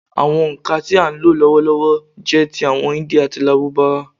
Àwọn òǹkà tí à ń lò lọ́wọ́lọ́wọ́ jẹ́ ti àwọn Hindi àti Lárúbáwá.